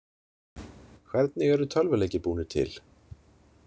Hvernig eru tölvuleikir búnir til?